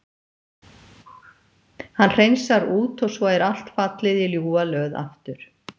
Hann hreinsar út og svo er allt fallið í ljúfa löð aftur.